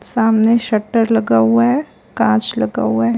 सामने शटर लगा हुआ है कांच लगा हुआ है।